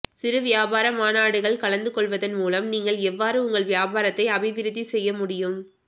சிறு வியாபார மாநாடுகள் கலந்துகொள்வதன் மூலம் நீங்கள் எவ்வாறு உங்கள் வியாபாரத்தை அபிவிருத்தி செய்ய முடியும்